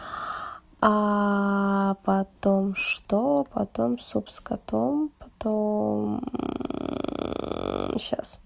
потом что потом суп с котом потом сейчас